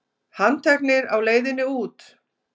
Handteknir á leiðinni út